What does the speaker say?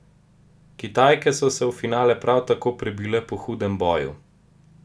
Kitajke so se v finale prav tako prebile po hudem boju.